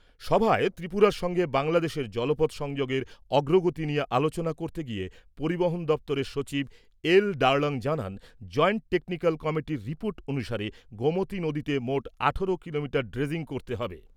সভায় ত্রিপুরার সঙ্গে বাংলাদেশের জলপথ সংযোগের অগ্রগতি নিয়ে আলোচনা করতে গিয়ে পরিবহন দপ্তরের সচিব এল ডার্লং জানান, জয়েন্ট টেকনিক্যাল কমিটির রিপোর্ট অনুসারে গোমতী নদীতে মোট আঠেরো কিলোমিটার ড্রেজিং করতে হবে ।